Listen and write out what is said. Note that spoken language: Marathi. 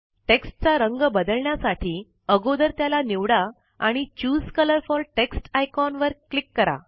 टेक्स्ट चा रंग बदलण्यासाठी अगोदर त्याला निवडा आणि choose colour for text icon वर क्लिक करा